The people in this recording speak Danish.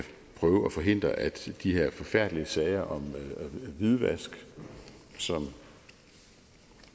prøve at forhindre at de her forfærdelige sager om hvidvask som